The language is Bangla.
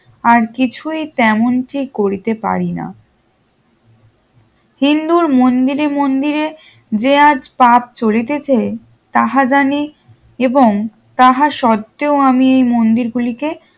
আর কিছুই তেমনটি করিতে পারিনা হিন্দুর মন্দিরে মন্দিরে যে আজ পাপ চলিতেছে তাহা জানি এবং তাহার সত্তেও আমি মন্দির গুলি কে